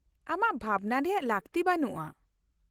-ᱟᱢᱟᱜ ᱵᱷᱟᱵᱱᱟ ᱨᱮᱭᱟᱜ ᱞᱟᱹᱠᱛᱤ ᱵᱟᱹᱱᱩᱜᱼᱟ ᱾